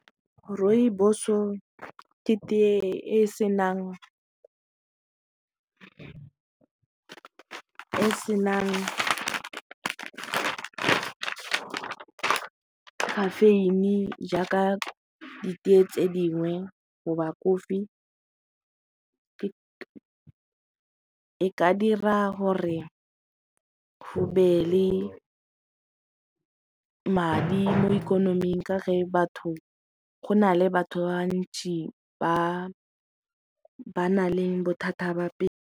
Rooibos-o ke tea e senang caffeine-i jaaka ditee tse dingwe goba kofi e ka dira gore go be le madi mo ikonoming ka ge batho go na le batho ba bantsi ba ba na le bothata ba pelo.